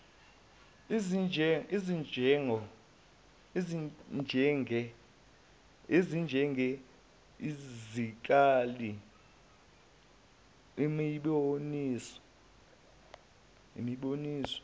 ezinjenge zikali imiboniso